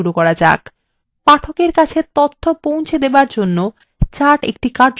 পাঠকের কাছে তথ্য পৌঁছে দেওয়ার জন্য charts কার্যকরী পদ্ধতি হতে পারে